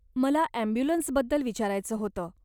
मला ॲम्ब्युलन्सबद्दल विचारायचं होतं?